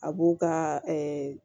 A b'u ka